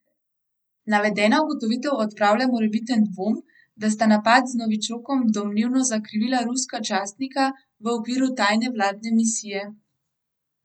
Navedena ugotovitev odpravlja morebiten dvom, da sta napad z novičokom domnevno zakrivila ruska častnika v okviru tajne vladne misije.